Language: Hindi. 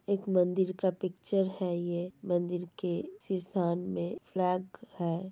एक मन्दिर का पिक्चर है ये मन्दिर के शी शान मे फ्लैग है।